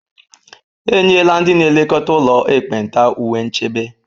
E nyela ndị na-elekọta ụlọ ekpenta uwe nchebe